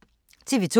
TV 2